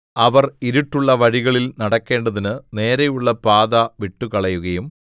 അവർ ഇരുട്ടുള്ള വഴികളിൽ നടക്കേണ്ടതിന് നേരെയുള്ള പാത വിട്ടുകളയുകയും